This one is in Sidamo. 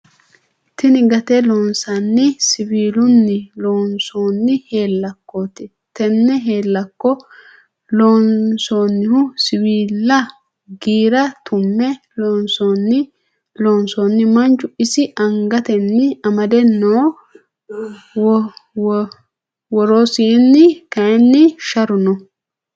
Tinni gatte loosinanni siwiilunni loonsonni heelakotte tenne heelakko lonsoonihu siwiila giire tu'me loonsoni Manchu ise angatenni amade no woroseeni kayiini sharu no.